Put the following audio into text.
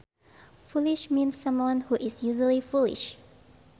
Foolish means someone who is usually foolish